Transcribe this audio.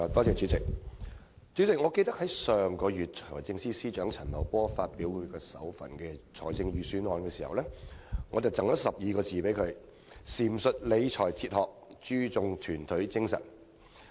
主席，記得上個月財政司司長陳茂波發表其首份財政預算案時，我贈了他12個字：闡述理財哲學、注重團隊精神。